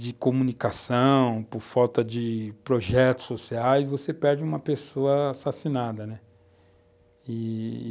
de comunicação, por falta de projetos sociais, você perde uma pessoa assassinada, né?